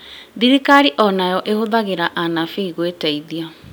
Thirikari o nayo no ĩhũthĩre anabii gwĩteithia